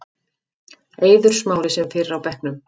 Eiður Smári sem fyrr á bekknum